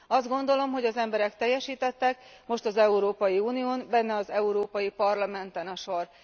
Azt gondolom, hogy az emberek teljesítettek, most az Európai Unión, benne az Európai Parlamenten a sor.